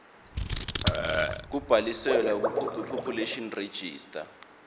kubhaliswe kupopulation register